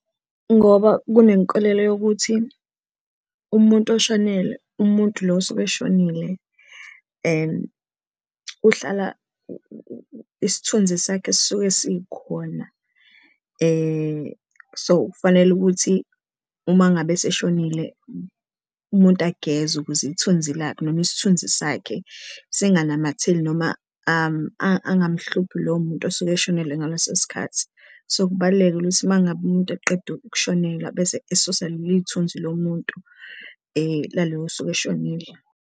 Ngoba kunenkolelo yokuthi umuntu oshonelwe, umuntu lo osuke eshonile uhlala isithunzi sakhe esisuke sikhona so, kufanele ukuthi uma ngabe eseshonile umuntu agezwe ukuze ithunzi lakhe noma isithunzi sakhe singanamatheli noma angamhluphi lowo muntu osuke eshonile ngaleso sikhathi. So, kubalulekile ukuthi uma ngabe umuntu eqeda ushonelwa bese esusa lelo thunzi lomuntu lalo osuke eshonile.